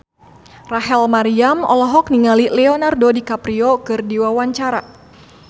Rachel Maryam olohok ningali Leonardo DiCaprio keur diwawancara